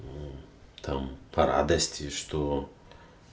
там по радости что